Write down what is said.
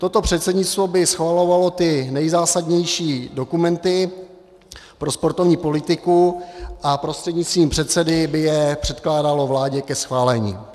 Toto předsednictvo by schvalovalo ty nejzásadnější dokumenty pro sportovní politiku a prostřednictvím předsedy by je předkládalo vládě ke schválení.